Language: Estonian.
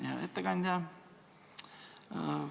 Hea ettekandja!